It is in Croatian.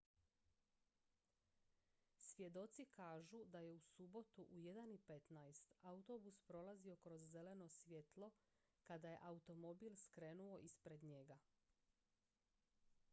svjedoci kažu da je u subotu u 1:15 autobus prolazio kroz zeleno svjetlo kada je automobil skrenuo ispred njega